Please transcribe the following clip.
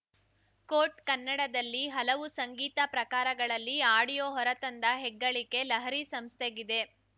coat ಕನ್ನಡದಲ್ಲಿ ಹಲವು ಸಂಗೀತ ಪ್ರಕಾರಗಳಲ್ಲಿ ಆಡಿಯೋ ಹೊರ ತಂದ ಹೆಗ್ಗಳಿಕೆ ಲಹರಿ ಸಂಸ್ಥೆಗಿದೆ